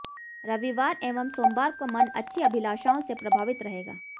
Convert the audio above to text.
रविवार एवं सोमवार को मन अच्छी अभिलाषाओं से प्रभावित रहेगा